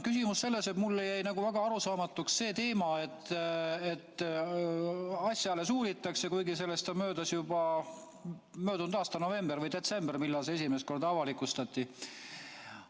Mulle jäi väga arusaamatuks see teema, et asja alles uuritakse, kuigi sellest on möödas juba päris palju aega – see oli vist möödunud aasta novembris või detsembris, kui see esimest korda avalikustati.